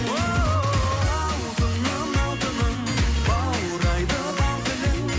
ооо алтыным алтыным баурайды бал тілің